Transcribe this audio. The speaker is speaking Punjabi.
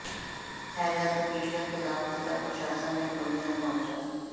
ਹੈਜ਼ਾ ਅਤੇ ਪੀਲਿਆ ਖ਼ਿਲਾਫ਼ ਜ਼ਿਲ੍ਹਾ ਪ੍ਰਸ਼ਾਸਨ ਨੇ ਖੋਲ੍ਹਿਆ ਮੋਰਚਾ